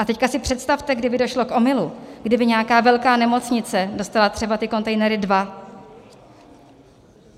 A teď si představte, kdyby došlo k omylu, kdyby nějaká velká nemocnice dostala třeba ty kontejnery dva.